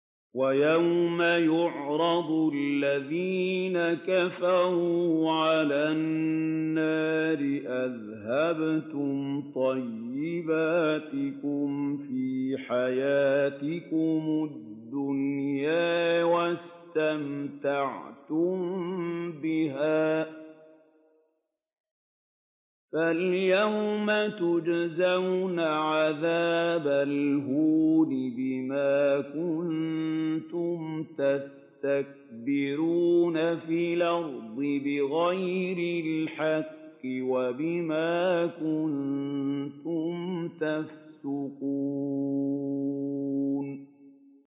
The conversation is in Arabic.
وَيَوْمَ يُعْرَضُ الَّذِينَ كَفَرُوا عَلَى النَّارِ أَذْهَبْتُمْ طَيِّبَاتِكُمْ فِي حَيَاتِكُمُ الدُّنْيَا وَاسْتَمْتَعْتُم بِهَا فَالْيَوْمَ تُجْزَوْنَ عَذَابَ الْهُونِ بِمَا كُنتُمْ تَسْتَكْبِرُونَ فِي الْأَرْضِ بِغَيْرِ الْحَقِّ وَبِمَا كُنتُمْ تَفْسُقُونَ